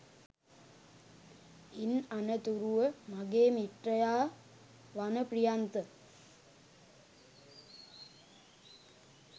ඉන් අනතුරුව මගේ මිත්‍රයා වන ප්‍රියන්ත